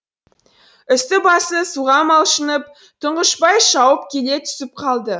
үсті басы суға малшынып тұңғышбай шауып келе түсіп қалды